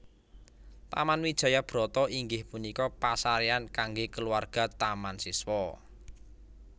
Taman Wijaya Brata inggih punika pasarean kangge kulawarga Taman Siswa